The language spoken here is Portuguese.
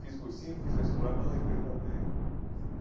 Fiz o cursinho, fiz o vestibular, não entrei também não deu certo.